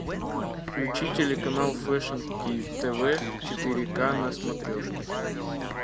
включи телеканал фэшн тв четыре к на смотрешке